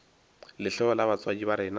lehloyo la batswadi ba rena